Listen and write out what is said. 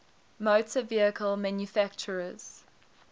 motor vehicle manufacturers